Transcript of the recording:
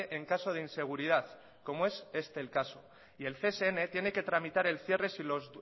en caso de inseguridad como es este el caso y el csn tiene que tramitar el cierre si los